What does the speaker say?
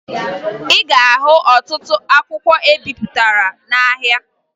Ị ga-ahụ ọtụtụ akwụkwọ ebipụtara n'ahịa